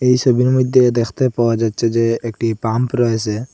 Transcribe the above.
এই সবির মইধ্যে দেখতে পাওয়া যাচ্ছে যে একটি পাম্প রয়েসে।